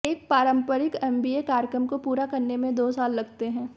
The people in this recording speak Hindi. एक पारंपरिक एमबीए कार्यक्रम को पूरा करने में दो साल लगते हैं